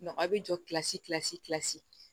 a bɛ jɔ kilasi